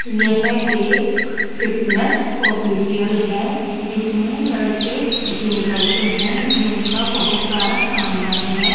यह एक fitness official है जिसमें लड़के जिम करते हैं जिम का बहुत सारा सामान है।